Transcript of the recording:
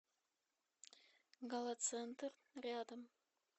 галацентр рядом